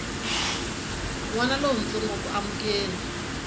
n wana lontsongo ku amukela